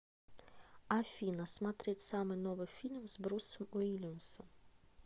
афина смотреть самый новый фильм с брусом уильямсом